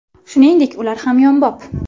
Shuningdek ular hamyonbop!